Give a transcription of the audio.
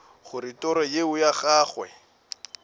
gore toro yeo ya gagwe